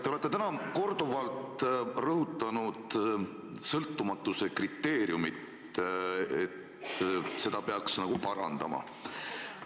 Te olete täna korduvalt rõhutanud sõltumatuse kriteeriumi, et seda peaks nagu parandama.